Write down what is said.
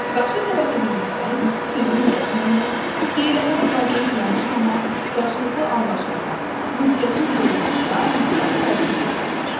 Qarşı tərəfi dinləmək, sözünü kəsməmək, deyilənə laqeyd yanaşmamaq qarşılıqlı anlaşmaya, ünsiyyətin qurulmasına müsbət təsir göstərir.